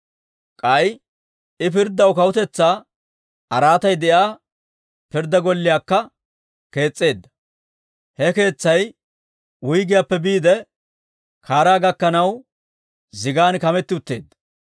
K'ay I pirddaw kawutetsaa araatay de'iyaa Pirddaa golliyaakka kees's'eedda; he keetsay wuyggiyaappe biide kaaraa gakkanaw zigan kametti utteedda.